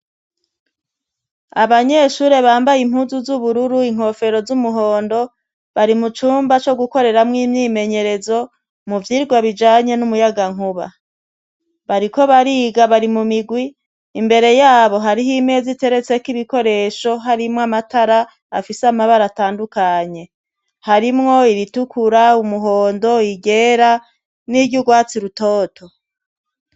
Abanyeshure bambaye impuzu z'ubururu inkofero z'umuhondo bari mu cumba co gukoreramwo imyimenyerezo mu vyirwa bijanye n'umuyagankuba bariko bariga bari mu migwi imbere yabo hariho imezi iteretseko ibikoresho harimwo amatara afise amabara atandukane nye harimwo iritukura umuhondo igera n'iryo urwatsi rutoto.